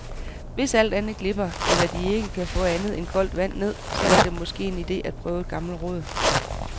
Hvis alt andet glipper, eller De ikke kan få andet end koldt vand ned, så var det måske en idé at prøve et gammelt råd.